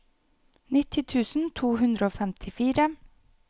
nitti tusen to hundre og femtifire